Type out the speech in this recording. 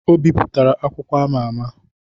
Ọ bipụtara akwụkwọ ama ama